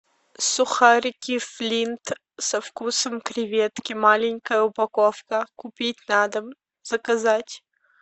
сухарики флинт со вкусом креветки маленькая упаковка купить на дом заказать